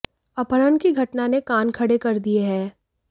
अपहरण की घटना ने कान खड़े कर दिए हैं